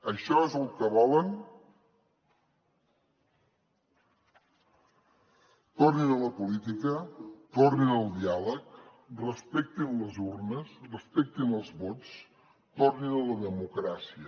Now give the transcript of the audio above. això és el que volen tornin a la política tornin al diàleg respectin les urnes respectin els vots tornin a la democràcia